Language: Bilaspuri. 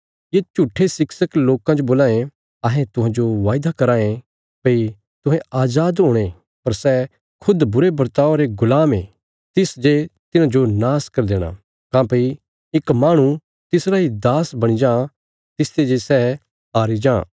ये झूट्ठे शिक्षक लोकां जो बोलां ये अहें तुहांजो वायदा कराँ ये भई तुहें अजाद हुणे पर सै खुद बुरे बर्तावा रे गुलाम ये तिस जे तिन्हांजो नाश करी देणा काँह्भई इक माहणु तिसरा इ दास बणी जां तिसते जे सै हारी जां